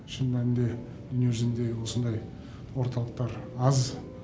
шын мәнінде дүниежүзінде осындай орталықтар аз